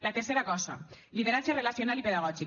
la tercera cosa lideratge relacional i pedagògic